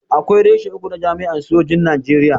Akwai reshe uku na jami'an sojin Najeriya.